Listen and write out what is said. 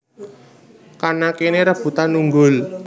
Kana kene rebutan unggul